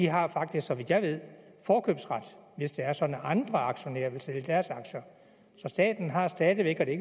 har faktisk så vidt jeg ved forkøbsret hvis det er sådan at andre aktionærer vil sælge deres aktier så staten har stadig væk og det